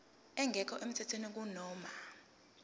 engekho emthethweni kunoma